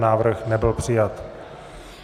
Návrh nebyl přijat.